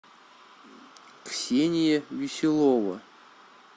ксения веселова